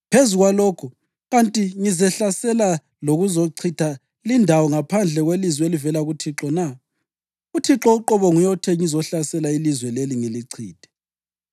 Phezu kwalokho, kanti ngizehlasela lokuzochitha lindawo ngaphandle kwelizwi elivela kuThixo na? UThixo uqobo nguye othe ngizohlasela ilizwe leli ngilichithe.’ ”